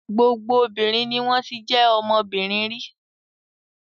Gbogbo obìnrin ni wọ́n ti jẹ́ ọmọbìnrin rí.